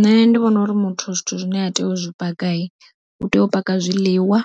Nṋe ndi vhona uri muthu zwithu zwine a tea u zwi paka, u tea u paka zwiḽiwa,